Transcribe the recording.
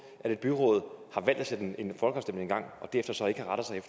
at et byråd har valgt at sætte en folkeafstemning i gang og derefter så ikke